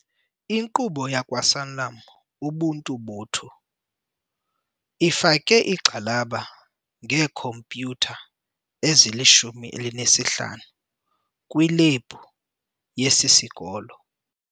Inkqubo yakwaSanlam Ubuntu botho ifake igxalaba ngeekhompyutha ezili-15 kwilebhu yesi sikolo.